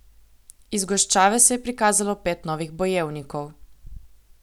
Iz goščave se je prikazalo pet novih bojevnikov.